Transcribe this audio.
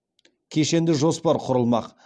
кешенді жоспар құрылмақ